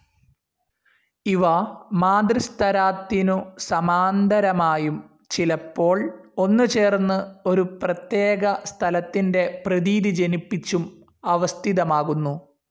ഇവ മാതൃസ്തരാത്തിനു സമാന്തരമായും ചിലപ്പോൾ ഒന്നുചേർന്നു ഒരു പ്രത്യേക സ്ഥലത്തിൻ്റെ പ്രതീതി ജനിപ്പിച്ചും അവസ്ഥിതമാകുന്നു.